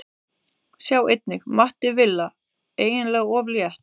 Sjá einnig: Matti Villa: Eiginlega of létt